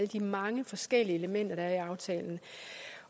de mange forskellige elementer der er i aftalen